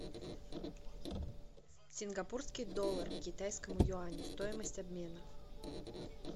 сингапурский доллар к китайскому юаню стоимость обмена